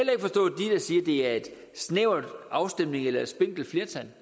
det er en snæver afstemning eller et spinkelt flertal